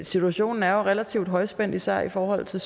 situationen er jo relativt højspændt især i forhold til